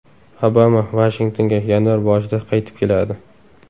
Obama Vashingtonga yanvar boshida qaytib keladi.